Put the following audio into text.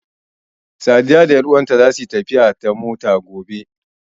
Sadiya da ƴanuwanta zasu yi tafiya ta motar safa gobe.